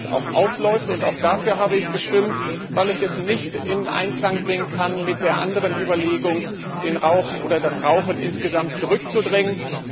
Das wird auslaufen, und auch dafür habe ich gestimmt, weil ich es nicht in Einklang bringen kann mit der anderen Überlegung, das Rauchen insgesamt zurückzudrängen.